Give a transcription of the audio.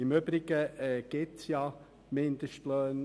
Im Übrigen gibt es ja Mindestlöhne.